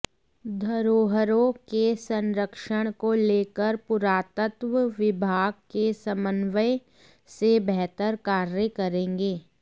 धरोहरों के संरक्षण को लेकर पुरातत्व विभाग के समन्वय से बेहतर कार्य करेंगे